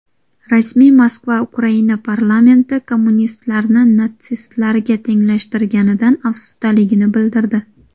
Rasmiy Moskva Ukraina parlamenti kommunistlarni natsistlarga tenglashtirganidan afsusdaligini bildirdi.